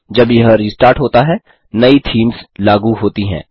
जब यह रिस्टार्ट होता है नई थीम्स लागू होती हैं